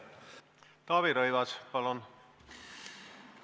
Taavi Rõivas, palun!